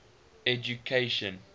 education